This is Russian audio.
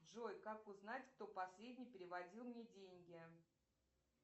джой как узнать кто последний переводил мне деньги